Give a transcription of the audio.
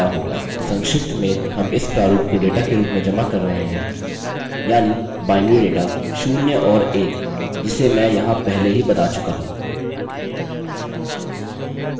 संक्षिप्त में हम इस प्रारूप को डेटा के रूप में जमा कर रहे हैं यानि binary data शून्य और एक जिसे मैं यहाँ पहले ही बता चुका हूँ